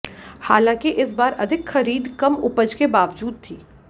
हालांकि इस बार अधिक खरीद कम उपज के बावजूद थी